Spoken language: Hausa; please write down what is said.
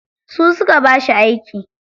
Su suka ba shi aiki.